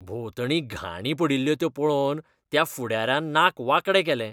भोंवतणी घाणी पडिल्ल्यो त्यो पळोवन त्या फुडाऱ्यान नाक वांकडें केलें.